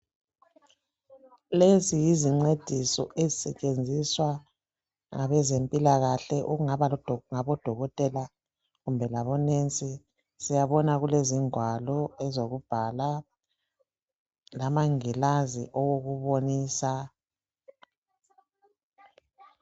Lezi yizincediso ezisetshenziswa ngabezempilakahle okungaba ngabodokotela kumbe labonesi, siyabona kulezingwalo ezokubhala lamangilazi owokubonisa.